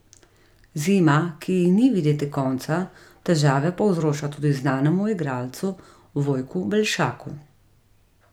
Zima, ki ji ni videti konca, težave povzroča tudi znanemu igralcu Vojku Belšaku.